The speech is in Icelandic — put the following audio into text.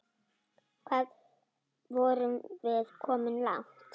Hvað vorum við komin langt?